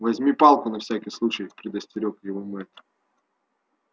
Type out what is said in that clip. возьми палку на всякий случай предостерёг его мэтт